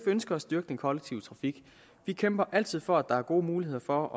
ønsker at styrke den kollektive trafik vi kæmper altid for at der er gode muligheder for